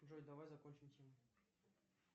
джой давай закончим тему